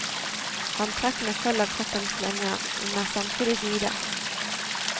Antrekkene følger kroppens linjer, men er samtidig vide.